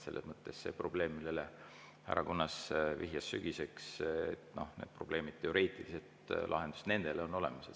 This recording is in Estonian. Selles mõttes sellele probleemile, millele härra Kunnas vihjas, et sügiseks, on teoreetiline lahendus olemas.